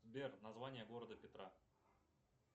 сбер название города петра